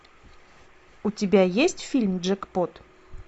у тебя есть фильм джекпот